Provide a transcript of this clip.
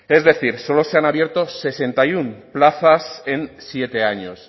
es decir solo se han abierto sesenta y uno plazas en siete años